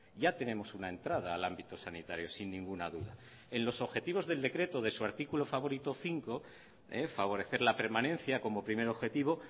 ya tenemos una entrada al ámbito sanitario sin ninguna duda en los objetivos del decreto de su artículo favorito cinco favorecer la permanencia como primer objetivo